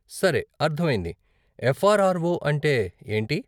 సరే, అర్ధమయింది. ఎఫ్ఆర్ఆర్ఓ అంటే ఏంటి?